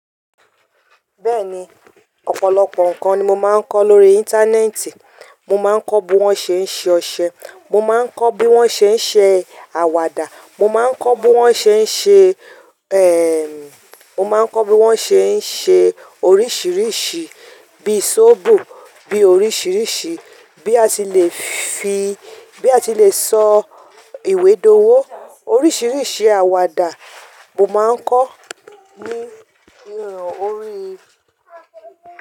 Bẹ́ẹ̀ni, ọ̀pọ̀lọpọ̀ nǹkan ni mo máa ń kọ́ lórí Íńtánẹ́ẹ̀tì. Mo má ń kọ́ bí wọ́n ṣe ń ṣe ọṣẹ, mo má ń kọ́ bí wọ́n ṣe ń ṣe àwàdà, mo má ń kọ́ bí wọ́n ṣe ń ṣe, mo má ń kọ́ bí wọ́n ṣe ń ṣe oríṣìíríṣìí bíi sóbò, bí i oríṣìíríṣìí, bí a ti lè fi, bí a ti lè sọ ìwé dowo. Oríṣìíríṣìí àwàdà mo má ń kọ́ ní orí.